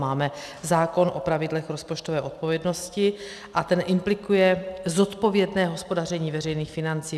Máme zákon o pravidlech rozpočtové odpovědnosti a ten implikuje zodpovědné hospodaření veřejných financí.